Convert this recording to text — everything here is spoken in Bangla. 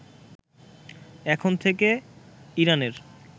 এখন থেকে ইরানের